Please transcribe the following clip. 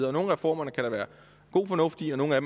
og nogle af reformerne kan der være god fornuft i og nogle af